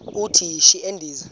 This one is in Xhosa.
uthi yishi endiza